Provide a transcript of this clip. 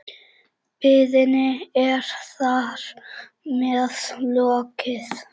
Biðinni er þar með lokið.